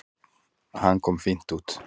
Hann kom fínt út.